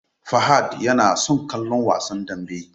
Fahad yana son kallon Wasan Danbe.